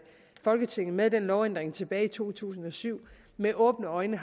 folketinget med den lovændring tilbage i to tusind og syv med åbne øjne